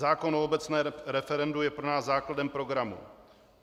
Zákon o obecném referendu je pro nás základem programu.